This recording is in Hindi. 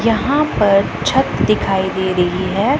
यहां पर छत दिखाई दे रही है।